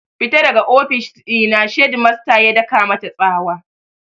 Fita daga ofis ɗina! shedmasta ya daka mata tsawa